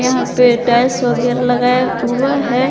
यहां पे टाइल्स वगैरा लगाया हुआ है।